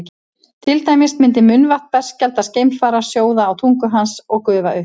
til dæmis myndi munnvatn berskjaldaðs geimfara sjóða á tungu hans og gufa upp